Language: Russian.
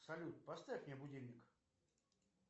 салют поставь мне будильник